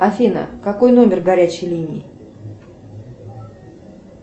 афина какой номер горячей линии